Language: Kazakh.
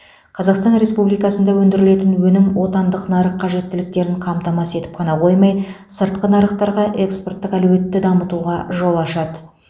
қазақстан республикасында өндірілетін өнім отандық нарық қажеттіліктерін қамтамасыз етіп қана қоймай сыртқы нарықтарға экспорттық әлеуетті дамытуға жол ашады